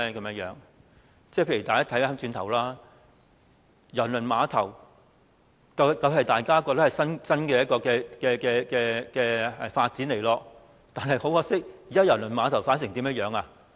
例如當年的郵輪碼頭方案，大家也認為是一種新發展，但很可惜，現時郵輪碼頭的發展是怎樣的呢？